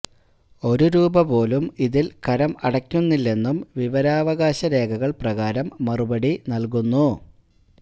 ഒരു രൂപ പോലും ഇതിൽ കരം അടക്കുന്നില്ലെന്നും വിവരാവകാശ രേഖകൾ പ്രകാരം മറുപടി നൽകുന്നു